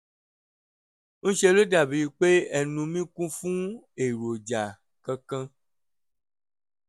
ń ṣe ló dàbí pé ẹnu mi kún fún èròjà kan kan